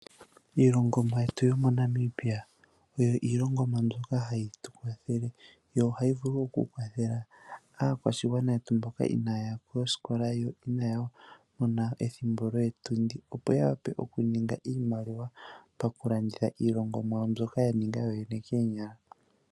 iilongomwa yetu yomoNamibia oyo iilongomwa mbyoka hayi tu kwathele, yo ohayi vulu oku kwathela aakwashigwana yetu mboka inaya ya koskola yo inaya mona ethimbo lyoo tundi, opo ya wape oku ninga iimaliwa paku landitha iilongomwa mbyoka ya ninga yooyene koonyala.